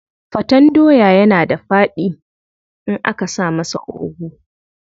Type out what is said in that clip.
Faten doya yana da faɗi in aka sa masa ogu.